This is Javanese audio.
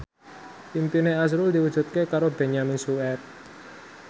impine azrul diwujudke karo Benyamin Sueb